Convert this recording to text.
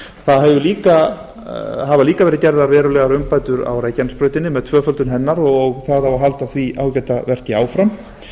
það hafa líka verið gerðar verulegar umbætur á reykjanesbrautinni með tvöföldun hennar og það á að halda því ágæta verki áfram